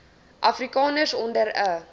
afrikaners onder n